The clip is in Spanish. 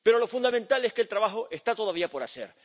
Pero lo fundamental es que el trabajo está todavía por hacer.